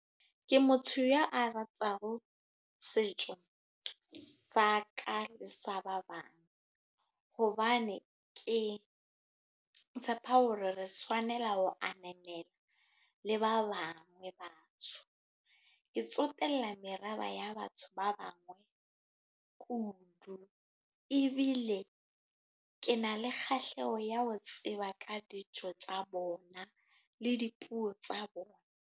Ke motho ya a rataho, setso sa ka le sa ba bang. Hobane ke tshepa hore re tshwanela ho ananela le ba bangwe ba batho. Ke tsotella merabe ya batho ba bangwe kudu. Ebile ke na le kgahleho ya ho tseba ka dijo tsa bona, le dipuo tsa bona.